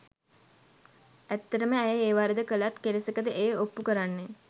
ඇත්තටම ඇය ඒ වරද කලත් කෙලෙසකද එය ඔප්පු කරන්නේ.